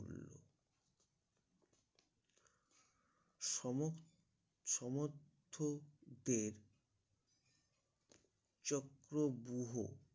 সমত সমর্থদের চক্রব্যূহ